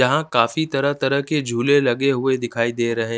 यहाँ काफी तरह तरह के झूले लगे हुए दिखाई दे रहे--